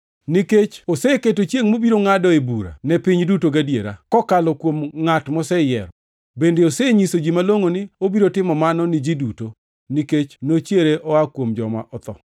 Nikech oseketo chiengʼ mobiro ngʼadoe bura ne piny duto gadiera, kokalo kuom ngʼat moseyiero. Bende osenyiso ji malongʼo ni obiro timo mano ni ji duto, nikech nochiere oa kuom joma otho.”